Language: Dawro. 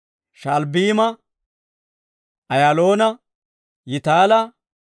Sha'albbiima, Ayaaloona, Yitaala,